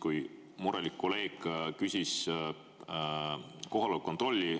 Kui murelik kolleeg küsis kohaloleku kontrolli